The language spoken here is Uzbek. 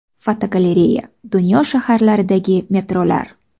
Fotogalereya: Dunyo shaharlaridagi metrolar.